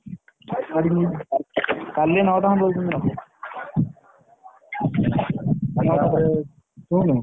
କାଲି ନଅ ଟା ଖଣ୍ଡ ବେଳକୁ ନବୁ ନଅ ଟାରେ ଶୁଣୁ।